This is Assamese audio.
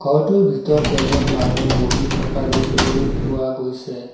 ঘৰটোৰ ভিতৰত এজন মানুহ বহি থকা দেখিবলৈ পোৱা গৈছে।